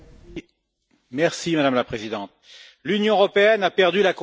Madame la Présidente, l'Union européenne a perdu la confiance des peuples.